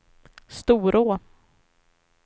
Storå